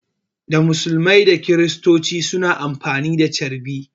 Da musulmai da kristoci suna amfani da carbi